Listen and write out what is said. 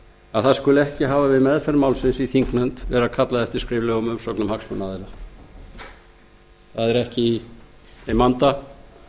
að það skuli ekki við meðferð málsins í þingnefnd hafa verið kallað eftir skriflegum umsögnum hagsmunaaðila það er ekki í þeim anda